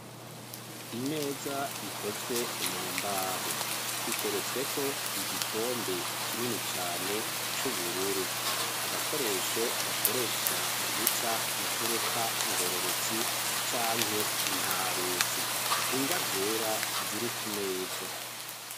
Imeza ikozwe mu mbaho, iteretsweko igikombe kinini cane c'ubururu, agakoresho bakoresha mu guca imfuruka ngororotsi canke ntarutsi, ingwa zera ziri ku meza.